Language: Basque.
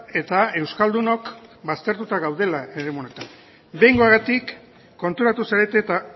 eta euskaldunok baztertuta gaudela eremu honetan behingoagatik konturatu zarete eta